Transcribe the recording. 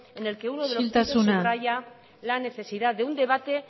en el que uno de los isiltasuna mesedez subraya la necesidad de un debate